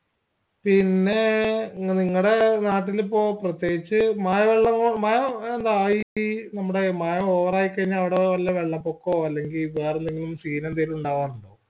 പിന്നേ നിങ്ങടെ നാട്ടിലിപ്പോ പ്രത്യേകിച്ച് മഴവെളളവോള മഴ എന്താ ഈ മഴ over ആയി കഴിഞ്ഞാ അവിടെ വെല്ല വെള്ളപൊക്കോ അല്ലെങ്കിൽ വേറെയെന്തെങ്കിലും scene എന്തേലും ഉണ്ടാവാറുണ്ടോ